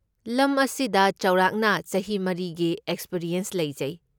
ꯂꯝ ꯑꯁꯤꯗ ꯆꯥꯎꯔꯥꯛꯅ ꯆꯍꯤ ꯃꯔꯤꯒꯤ ꯑꯦꯛꯁꯄꯔꯤꯌꯦꯟꯁ ꯂꯩꯖꯩ꯫